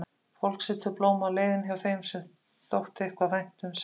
Fólk setur blóm á leiðin hjá þeim sem þeim þótti eitthvað vænt um, sagði